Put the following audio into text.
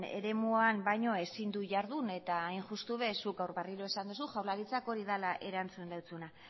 eremuan baino ezin du jardun eta hain justu ere zuk gaur berriro esan duzu jaurlaritzak hori dela erantzun dizuna